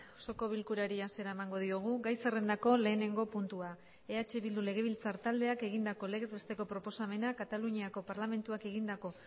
osoko bilkurari hasiera emango diogu gai zerrendako lehenengo puntua eh bildu legebiltzar taldeak egindako legez besteko proposamena kataluniako parlamentuak egindako